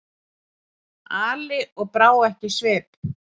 Ali og brá ekki svip.